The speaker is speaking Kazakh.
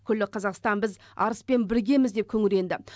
күллі қазақстан біз арыспен біргеміз деп күңіренді